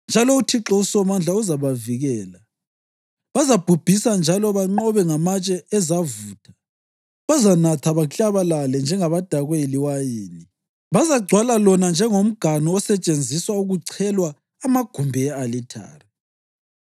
njalo uThixo uSomandla uzabavikela. Bazabhubhisa njalo banqobe ngamatshe ezavutha. Bazanatha baklabalale njengabadakwe liwayini; bazagcwala lona njengomganu osetshenziswa kuchelwa amagumbi e-alithare.